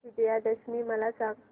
विजयादशमी मला सांग